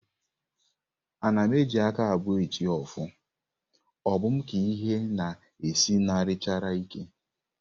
Ana m eji aka abụọ eti ọfọ, ọ bụ m ka ihe na-esinarichara ike?